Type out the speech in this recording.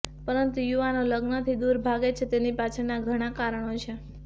પરંતુ યુવાનો લગ્નથી દુર ભાગે છે તેની પાછળના ઘણા કારણો છે